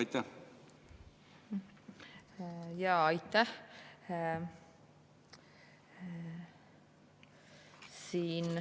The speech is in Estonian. Aitäh!